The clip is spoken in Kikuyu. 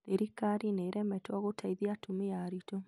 thirikari nĩ ĩremetwo nĩ gũteithia atumia aritũ